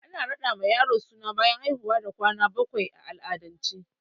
Ana raɗa ma yaro suna bayan haihuwa da kwana bakwai a al'adance